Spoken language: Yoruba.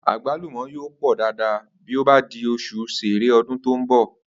Àgbàlúmò̩ yóò pò̩ dáadáa bí ó bá di os̩ù S̩e̩e̩re̩ o̩dún tó ń bò̩